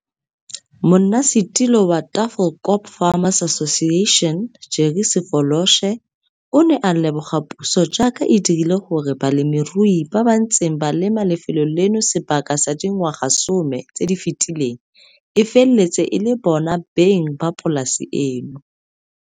Monnasetulo wa Tafelkop Farmers Association Jerry Sefoloshe o ne a leboga puso jaaka e dirile gore balemirui ba ba ntseng ba lema lefelo leno sebaka sa dingwaga some tse di fetileng e feletse e le bona beng ba polasa eno.